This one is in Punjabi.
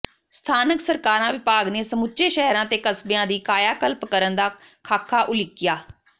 ਸਥਾਨਕ ਸਰਕਾਰਾਂ ਵਿਭਾਗ ਨੇ ਸਮੁੱਚੇ ਸ਼ਹਿਰਾਂ ਤੇ ਕਸਬਿਆਂ ਦੀ ਕਾਇਆ ਕਲਪ ਕਰਨ ਦਾ ਖਾਕਾ ਉਲੀਕਿਆ